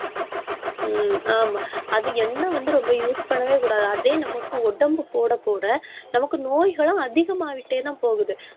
ஹம் ஆமா அது எண்ணெய் வந்து, ரொம்ப use பண்ணவே கூடாது. அதே நமக்கு உடம்பு போட, போட, நமக்கு நோய்களும் அதிகமாயிட்டேதான் போகுது